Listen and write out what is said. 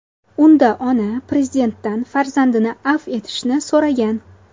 Unda ona Prezidentdan farzandini afv etishni so‘ragan.